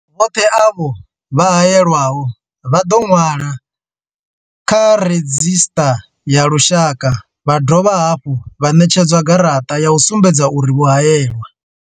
Vhoṱhe avho vho haelwaho vha ḓo ṅwalwa kha redzhisṱara ya lushaka vha dovha hafhu vha ṋetshedzwa garaṱa ya u sumbedza uri vho haelwa.